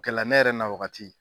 Kɛlɛla ne yɛrɛ na wagati